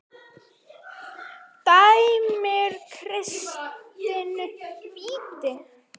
Dæmir Kristinn víti?